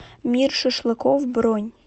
мир шашлыков бронь